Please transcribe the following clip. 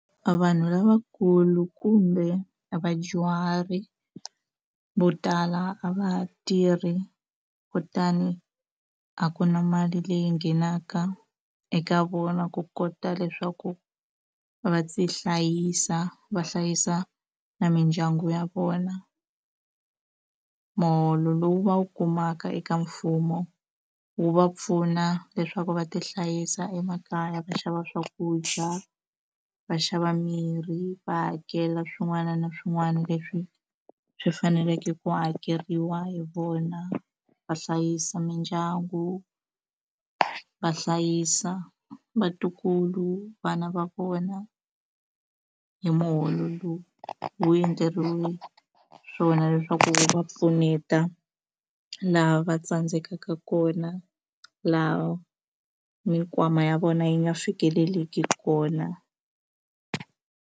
Vanhu lavakulu kumbe vadyuhari vo tala a va ha tirhi kutani a ku na mali leyi nghenaka eka vona ku kota leswaku va tihlayisa va hlayisa na mindyangu ya vona muholo lowu va wu kumaka eka mfumo wu va pfuna leswaku va ti hlayisa emakaya va xava swakudya va xava mirhi va hakela swin'wana na swin'wana leswi swi faneleke ku hakeriwa hi vona va hlayisa mindyangu va hlayisa vatukulu vana va vona hi muholo lowu wu endleriwe swona leswaku va pfuneta laha va tsandzekaka kona laha mikwama ya vona yi nga fikeleliki kona.